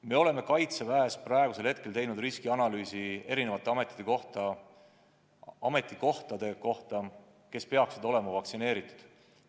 Me oleme Kaitseväes teinud riskianalüüsi eri ametikohtade kohta, kus inimesed peaksid olema vaktsineeritud.